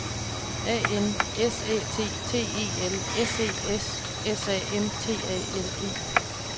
A N S Æ T T E L S E S S A M T A L E